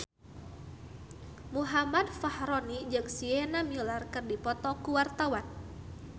Muhammad Fachroni jeung Sienna Miller keur dipoto ku wartawan